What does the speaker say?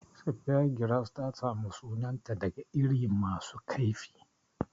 Speargrass ta samu sunanta daga iri masu kaifi.